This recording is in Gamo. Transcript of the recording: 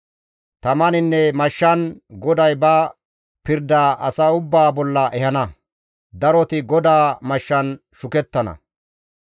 Tamaninne mashshan GODAY ba pirdaa asa ubbaa bolla ehana; daroti GODAA mashshan shukettana.